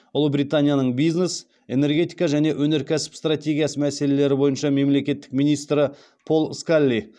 ұлыбританияның бизнес энергетика және өнеркәсіп стратегиясы мәселелері бойынша мемлекеттік министрі пол скалли